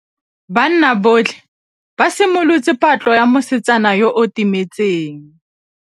Banna botlhê ba simolotse patlô ya mosetsana yo o timetseng.